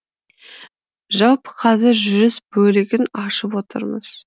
жалпы қазір жүріс бөлігін ашып отырмыз